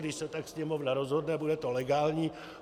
Když se tak Sněmovna rozhodne, bude to legální.